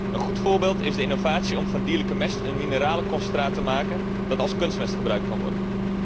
Een goed voorbeeld is de innovatie om van dierlijke mest een mineralenconcentraat te maken dat als kunstmest gebruikt kan worden.